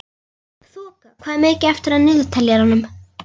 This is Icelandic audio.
Þoka, hvað er mikið eftir af niðurteljaranum?